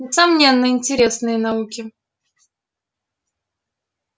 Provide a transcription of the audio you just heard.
несомненно интересные науки